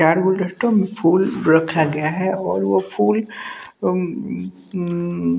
चार गुलदस्ते में फूल रखा गया है और वो फूल हम्म--